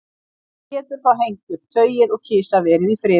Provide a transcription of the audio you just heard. Mamma getur þá hengt upp tauið og kisa verið í friði.